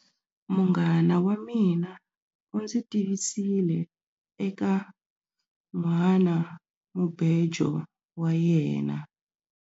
Munghana wa mina u ndzi tivisile eka nhwanamubejo wa yena.